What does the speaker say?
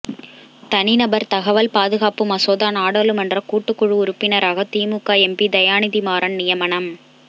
தனிநபர் தகவல் பாதுகாப்பு மசோதா நாடாளுமன்ற கூட்டுக்குழு உறுப்பினராக திமுக எம்பி தயாநிதி மாறன் நியமனம்